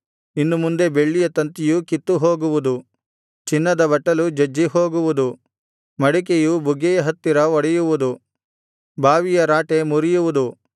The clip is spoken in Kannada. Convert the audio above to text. ಇನ್ನು ಮುಂದೆ ಬೆಳ್ಳಿಯ ತಂತಿಯು ಕಿತ್ತುಹೋಗುವುದು ಚಿನ್ನದ ಬಟ್ಟಲು ಜಜ್ಜಿಹೋಗುವುದು ಮಡಿಕೆಯು ಬುಗ್ಗೆಯ ಹತ್ತಿರ ಒಡೆಯುವುದು ಬಾವಿಯ ರಾಟೆ ಮುರಿಯುವುದು